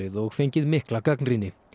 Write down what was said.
og fengið mikla gagnrýni